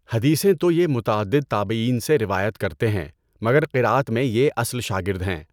حدیثیں تو یہ متعدد تابعین سے روایت کرتے ہیں مگر قراءت میں یہ اصل شاگرد ہیں۔